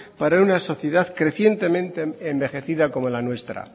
para una sociedad crecientemente envejecida como la nuestra